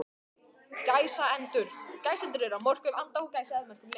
gæsendur eru á mörkum anda og gæsa að mörgu leyti